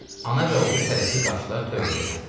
Ana və oğul tələsik qaçdılar tövləyə səmt.